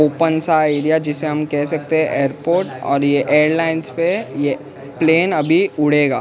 Open सा area जिसे हम कैह सकते हैं एयरपोर्ट और ये एयरलाइंस पे ये प्लेन अभी उड़ेगा।